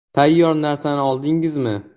- Tayyor narsani oldingizmi?